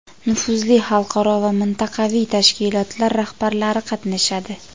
nufuzli xalqaro va mintaqaviy tashkilotlar rahbarlari qatnashadi.